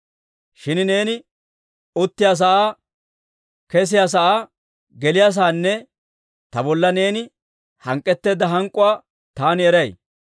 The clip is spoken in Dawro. « ‹Shin neeni uttiyaasaa, kesiyaasaa, geliyaasaanne ta bolla neeni hank'k'etteedda hank'k'uwaa taani eray.